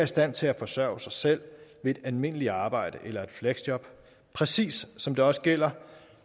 stand til at forsørge sig selv ved et almindeligt arbejde eller et fleksjob præcis som det også gælder